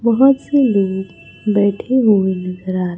बहोत से लोग बैठे हुए नजर आ--